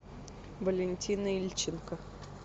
валентина ильченко